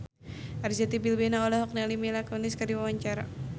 Arzetti Bilbina olohok ningali Mila Kunis keur diwawancara